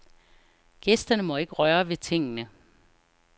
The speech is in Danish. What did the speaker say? Gæsterne må ikke røre ved tingene.